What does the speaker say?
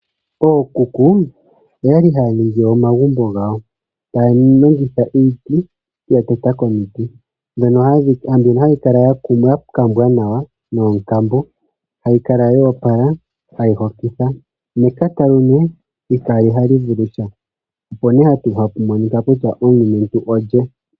Ookuku oyali haya ningi omagumbo gawo taya longitha iiti ,ya teta komiti mono hali kala lya kumbwa nawa noonkambo hali kala lyo opala tali hokitha nekatalume itali vulusha opo ha hapu monika kutya omulumentu olye.